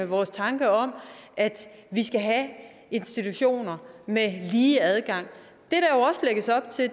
vores tanker om at vi skal have institutioner med lige adgang